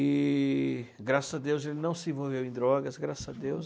E graças a Deus ele não se envolveu em drogas, graças a Deus.